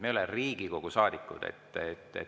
Me ei ole Riigikogu saadikud.